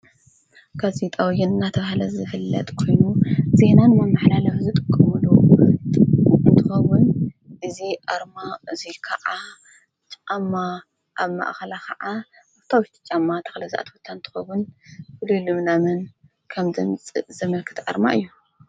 ከዙይ ጣውይን ናተብሃለ ዝፍለጥ ኮይኑ ዜና ንመመሓላለፊ ዝጥቀምሉ እንትኸዉን እዙይ ኣርማ እዙይከዓ ጫማ ኣብ ማእኸላ ኸዓ ብሕታወይቲ ጫማ ተኽሊ ዝኣተወታ እንትከውን ብሉዩሉምናምን ከም ዘምፅእ ዘመልክት ኣርማ እዩ።